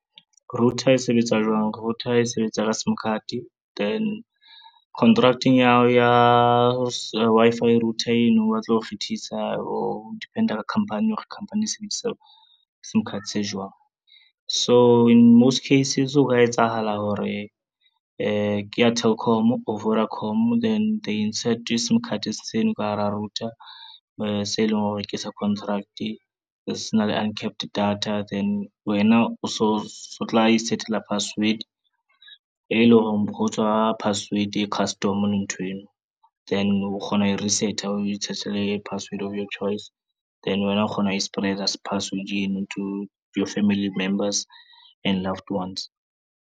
Router e sebetsa jwang. Router e sebetsa ka simcard, then contract-eng ya hao ya Wi-Fi router eno ba tla o kgethisa ho depend-a ka khampani hore khampani e sebedisa sim card se jwang. So in most cases ho ka etsahala hore ke ya Telkom or Vodacom then they insert sum card seno ka hara router e se e leng hore ke sa contract, se na le uncapped data, then wena o so tla i-set-ela password e lo reng ho tswa password e custom le nthweno. Then o kgona ho e reset-a o e i-set-ele password of your choice, then wena o kgona ho e spreader password eno to your family members and loved ones.